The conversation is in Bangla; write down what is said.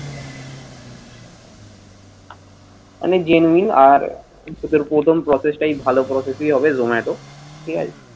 মানে genuine আর এদের প্রথম process তাই ভালো process ই হবে zomato ঠিক আছে